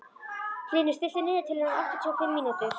Hlynur, stilltu niðurteljara á áttatíu og fimm mínútur.